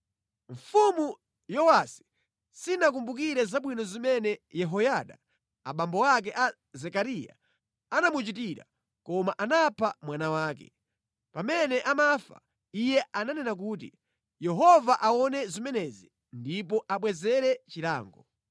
Mfumu Yowasi sinakumbukire zabwino zimene Yehoyada abambo ake a Zekariya anamuchitira, koma anapha mwana wake. Pamene amafa, iye ananena kuti, “Yehova aone zimenezi ndipo abwezere chilango.”